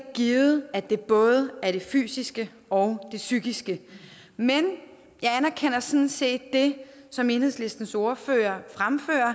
givet at det både er det fysiske og det psykiske men jeg anerkender sådan set det som enhedslistens ordfører fremfører